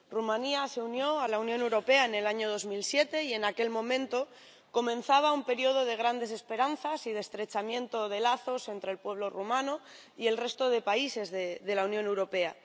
Rumanía se unió a la Unión Europea en el año 2007, y en aquel momento comenzaba un período de grandes esperanzas y de estrechamiento de lazos entre el pueblo rumano y el resto de países de la Unión Europea.